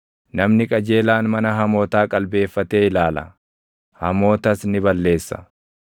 Namni qajeelaan mana hamootaa qalbeeffatee ilaala; hamootas ni balleessa.